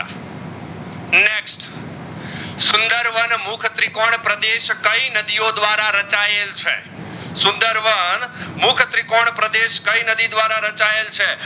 સુંદરવન મુખ ત્રિકોણ પ્રદેશ કઈ નદીઓ ધ્વારા રાચાએલ છે સુંદરવન મુખ ત્રિકોણ પ્રદેશ કઈ નદી ધ્વારા રાચાએલ છે?